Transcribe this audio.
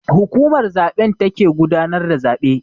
Hukumar zaben take gudanar da zabe.